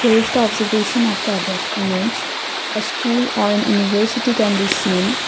here is the observation of the above image a school or an university can be seen.